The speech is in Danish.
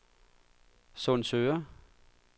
Sundsøre